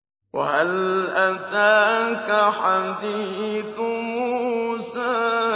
وَهَلْ أَتَاكَ حَدِيثُ مُوسَىٰ